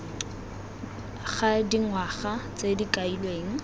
ga dingwaga tse di kailweng